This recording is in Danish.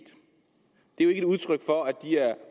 det er et udtryk for at de er